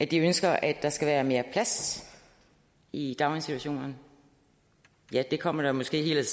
de ønsker at der skal være mere plads i daginstitutionerne ja det kommer måske